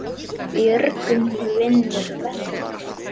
Björgun vinnur verkið.